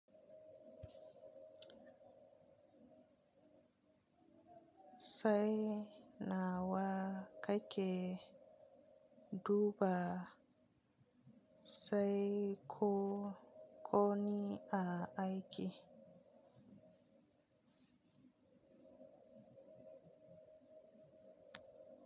Sai nawa ka ke duba sai ko koni a aiki?